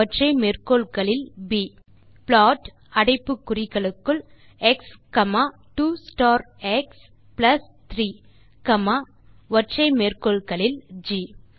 பின் மீண்டும் ப்ளாட் அடைப்பு குறிகளுக்குள் X 2 star X plus 3 G